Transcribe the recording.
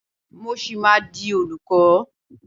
Mo ṣì máa di olùkọ́.